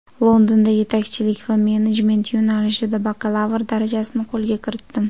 Londonda yetakchilik va menejment yo‘nalishida bakalavr darajasini qo‘lga kiritdim.